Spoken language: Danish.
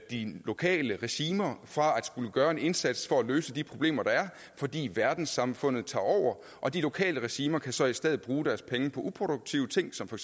lokale regimer for at skulle gøre en indsats for at løse de problemer der er fordi verdenssamfundet tager over og de lokale regimer kan så i stedet bruge deres penge på uproduktive ting som for